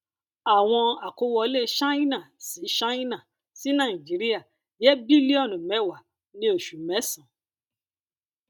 àwọn àkówọlé ṣáínà sí ṣáínà sí nàìjíríà jẹ bílíọnù mẹwàá ní oṣù mésànán